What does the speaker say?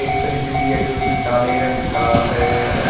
Fridge भी है जो कि काले रंग का है।